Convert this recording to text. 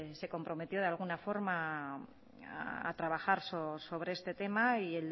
se comprometió de alguna forma a trabajar sobre este tema y